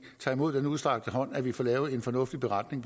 tager imod den udstrakte hånd og vi får lavet en fornuftig beretning